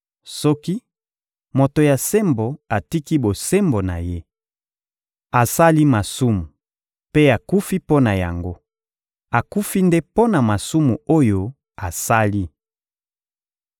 Soki moto ya sembo atiki bosembo na ye, asali masumu mpe akufi mpo na yango, akufi nde mpo na masumu oyo asali.